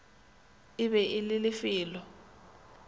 e be e le lefelo